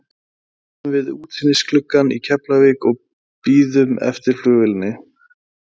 Við stöndum við útsýnisgluggann í Keflavík og bíðum eftir flugvélinni.